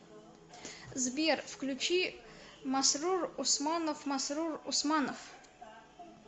сбер включи масрур усманов масрур усманов